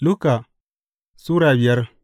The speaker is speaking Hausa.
Luka Sura biyar